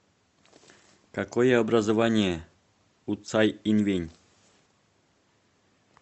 какое образование у цай инвэнь